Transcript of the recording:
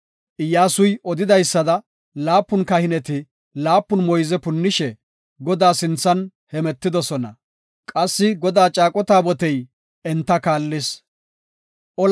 Iyyasuy odidaysada, laapun kahineti laapun moyze punnishe Godaa sinthan hemetidosona; qassi Godaa caaqo taabotey enta kaallis. Moyze